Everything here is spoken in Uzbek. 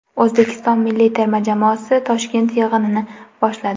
O‘zbekiston milliy terma jamoasi Toshkent yig‘inini boshladi .